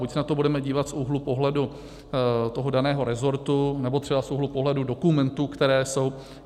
Buď se na to budeme dívat z úhlu pohledu toho daného resortu nebo třeba z úhlu pohledu dokumentů, které jsou.